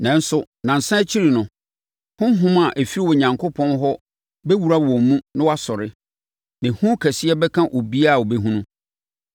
Nanso, nnansa akyi no, Honhom a ɔfiri Onyankopɔn hɔ bɛwura wɔn mu na wɔasɔre. Na ehu kɛseɛ bɛka obiara a ɔbɛhunu.